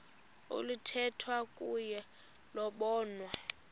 oluthethwa kuyo lobonwa